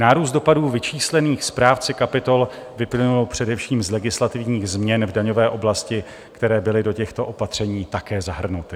Nárůst dopadů vyčíslených správci kapitol vyplynul především z legislativních změn v daňové oblasti, které byly do těchto opatření také zahrnuty.